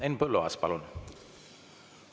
Henn Põlluaas, palun!